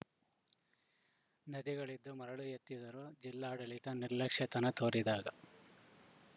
ನದಿಗಳಿದು ಮರಳು ಎತ್ತಿದರೂ ಜಿಲ್ಲಾಡಳಿತ ನಿರ್ಲಕ್ಷ್ಯತನ ತೋರಿದಾಗ